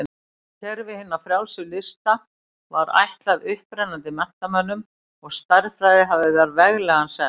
Kerfi hinna frjálsu lista var ætlað upprennandi menntamönnum og stærðfræði hafði þar veglegan sess.